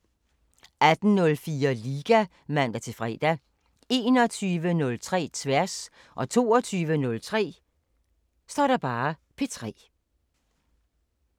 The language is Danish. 18:04: Liga (man-fre) 21:03: Tværs 22:03: P3